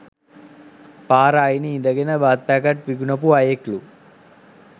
පාර අයිනෙ ඉඳගෙන බත් පැකට් විකුනපු අයෙක්ලු